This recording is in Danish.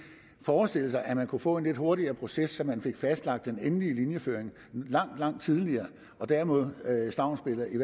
forestille sig at man kunne få en lidt hurtigere proces så man fik fastlagt den endelige linjeføring langt langt tidligere og dermed at stavnsbinde et